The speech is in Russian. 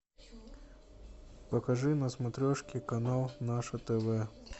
покажи на смотрешке канал наше тв